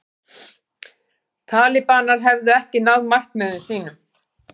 Talibanar hefðu ekki náð markmiðum sínum